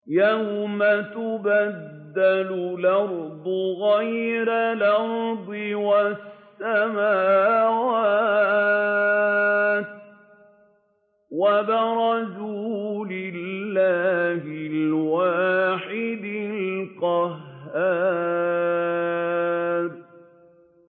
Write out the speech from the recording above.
يَوْمَ تُبَدَّلُ الْأَرْضُ غَيْرَ الْأَرْضِ وَالسَّمَاوَاتُ ۖ وَبَرَزُوا لِلَّهِ الْوَاحِدِ الْقَهَّارِ